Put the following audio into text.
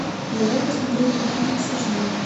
давай посмотрю люди икс аш ди